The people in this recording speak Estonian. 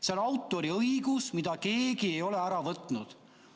See on autoriõigus, mida keegi ei ole ära võtnud.